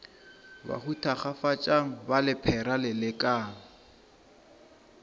bahu thakgafatšang ba lephera lelekang